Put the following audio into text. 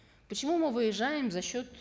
почему мы выезжаем за счет